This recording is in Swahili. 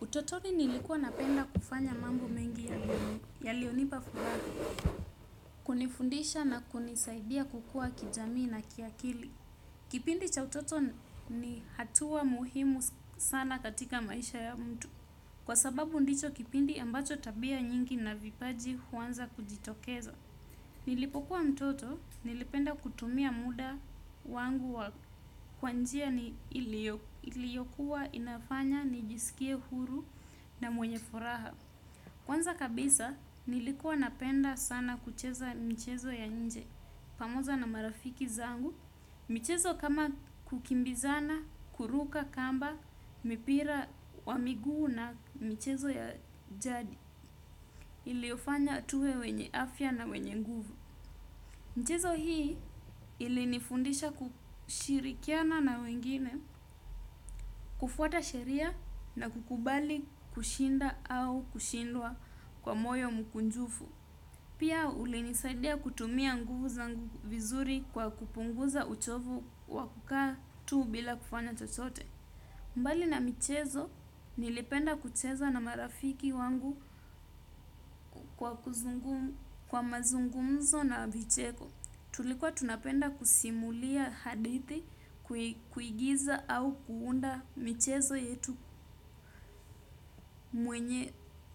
Utotoni nilikuwa napenda kufanya mambo mengi ya lionipa fuhara, kunifundisha na kunisaidia kukua kijamii na kiakili. Kipindi cha utoto ni hatua muhimu sana katika maisha ya mtu kwa sababu ndicho kipindi ambacho tabia nyingi na vipaji huwanza kujitokeza. Nilipokuwa mtoto, nilipenda kutumia muda wangu wa kwanjia ni iliokuwa inafanya, nijisikia huru na mwenye furaha. Kwanza kabisa, nilikuwa napenda sana kucheza mchezo ya nje, pamoja na marafiki zangu. Mchezo kama kukimbizana, kuruka, kamba, mipira, wamiguu na mchezo ya jadi, iliofanya tuwe wenye afya na wenye nguvu. Mchezo hii ilinifundisha kushirikiana na wengine, kufuata sheria na kukubali kushinda au kushindwa kwa moyo mkunjufu. Pia ulinisaidia kutumia nguvu zangu vizuri kwa kupunguza uchovu wakukaa tuu bila kufanya chochote. Mbali na michezo nilipenda kucheza na marafiki wangu kwa mazungumzo na vicheko. Tulikuwa tunapenda kusimulia hadithi kuigiza au kuunda michezo yetu